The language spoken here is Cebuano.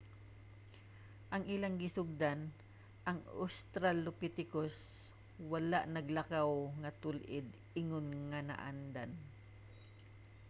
ang ilang gisundan ang australopithecus wala naglakaw nga tul-id ingon nga naandan